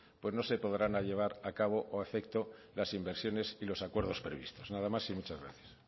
pues no se podrán llevar a cabo o a efecto las inversiones y los acuerdos previstos nada más y muchas gracias